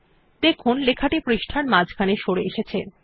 দেখুন লেখাটি পৃষ্টার মাঝখানে সরে এসেছে